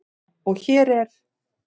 Og hér er